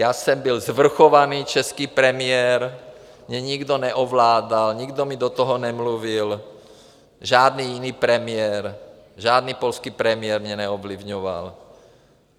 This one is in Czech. Já jsem byl svrchovaný český premiér, mě nikdo neovládal, nikdo mi do toho nemluvil, žádný jiný premiér, žádný polský premiér mě neovlivňoval.